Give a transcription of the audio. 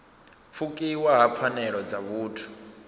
pfukiwa ha pfanelo dza vhuthu